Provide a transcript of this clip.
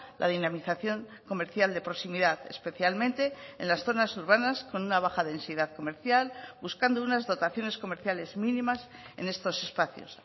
la dinamización comercial de proximidad especialmente en las zonas urbanas con una baja densidad comercial buscando unas dotaciones comerciales mínimas en estos espacios